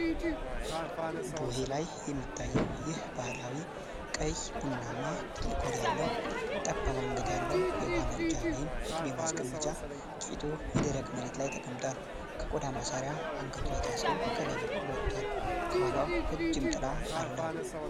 ቡሄ ላይ የሚታየው ይህ ባህላዊ፣ ቀይ ቡናማ፣ ትልቅ ሆድ ያለው፣ ጠባብ አንገት ያለው የውሃ መቅጃ ወይም የቅቤ ማስቀመጫ ቂጡ የደረቅ መሬት ላይ ተቀምጧል። ከቆዳ ማሰሪያ አንገቱ ላይ ታስሮ ከላይ በኩል ወጥቷል፤ ከኋላው ረጅም ጥላ አለው።